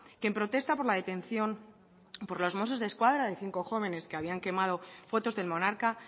que en protesta por la detención por los mossos desquadra de cinco jóvenes que habían quemado fotos del monarca